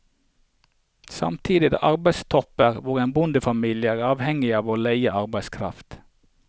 Samtidig er det arbeidstopper hvor en bondefamilie er avhengig av å leie arbeidskraft.